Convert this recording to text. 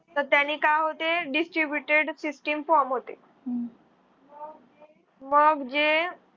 त त्यानी काय होते? distributed system form होते. मग जे.